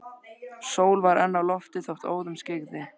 Sól var enn á lofti þótt óðum skyggði.